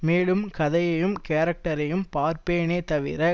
மேலும் கதையையும் கேரக்டரையும் பார்ப்பேனே தவிர